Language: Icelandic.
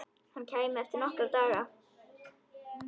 Hann kæmi eftir nokkra daga.